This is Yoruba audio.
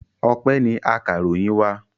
Ọpẹ́ ni akaròyìn wa.